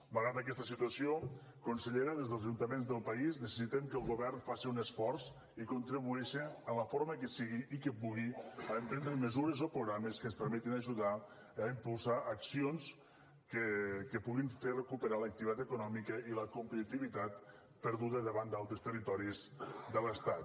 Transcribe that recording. malgrat aquesta situació consellera des dels ajuntaments del país necessitem que el govern faci un esforç i contribueixi en la forma que sigui i que pugui a emprendre mesures o programes que ens permetin ajudar a impulsar accions que puguin fer recuperar l’activitat econòmica i la competitivitat perduda davant d’altres territoris de l’estat